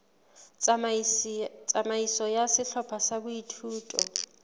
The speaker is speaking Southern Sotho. tsamaiso ya sehlopha sa boithuto